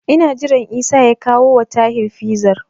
Ina jiran Isa ya kawowa Tahir Fizar.